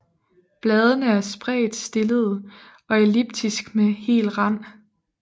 Bladene er spredt stillede og elliptiske med hel rand